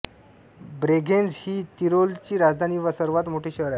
Bregenz ही तिरोलची राजधानी व सर्वात मोठे शहर आहे